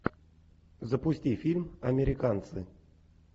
запусти фильм американцы